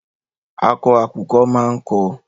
Akọ àkùkọ máa ń kọ.